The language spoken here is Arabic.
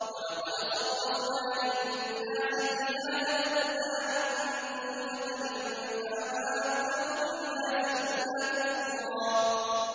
وَلَقَدْ صَرَّفْنَا لِلنَّاسِ فِي هَٰذَا الْقُرْآنِ مِن كُلِّ مَثَلٍ فَأَبَىٰ أَكْثَرُ النَّاسِ إِلَّا كُفُورًا